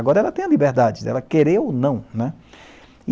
Agora ela tem a liberdade de ela querer ou não, né.